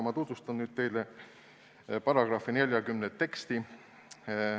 Ma tutvustan nüüd teile § 40 teksti.